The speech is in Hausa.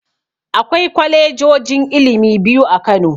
Akwai kwalejojin ilimi biyu a Kano.